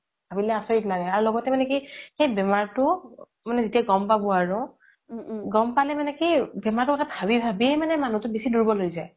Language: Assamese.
আৰু ভাবিলে আচৰিত লাগে আৰু লগতে মানে কি সেই বেমাৰতো যেতিয়া গ্'ম পাব আৰু গ্'ম পালে মানে কি বেমাৰতো কথা ভাবি ভাবিই মানে মানুহতো বেচি দুৰ্বল হয় যাই